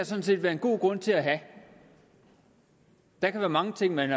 sådan set være en god grund til at have der kan være mange ting man